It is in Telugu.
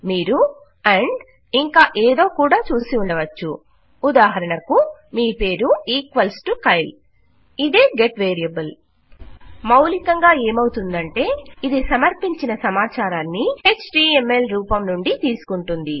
మీరు అండ్ ఇంకా ఏదో కూడా చూసి ఉండవచ్చు ఉదాహరణకు మీ పేరు ఈక్వల్స్ టు కైల్ ఇదే గెట్ వేరియబుల్ మౌలికంగా ఏమవుతుందంటే ఇది సమర్పించిన సమచారాన్ని ఎచ్టీఎంఎల్ రూపం నుండి తీసుకుంటుంది